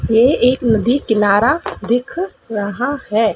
ये एक नदी किनारा दिख रहा है।